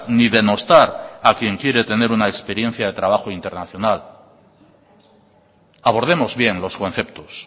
ni denostar a quien quiere tener una experiencia de trabajo internacional abordemos bien los conceptos